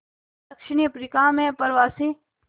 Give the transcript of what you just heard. दक्षिण अफ्रीका में अप्रवासी